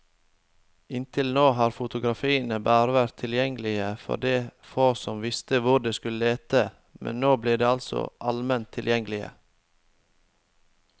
Inntil nå har fotografiene bare vært tilgjengelige for de få som visste hvor de skulle lete, men nå blir de altså alment tilgjengelige.